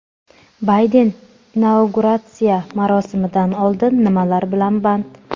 Bayden inauguratsiya marosimidan oldin nimalar bilan band?.